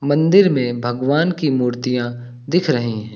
मंदिर में भगवान की मूर्तियां दिख रही हैं।